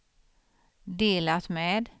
delat med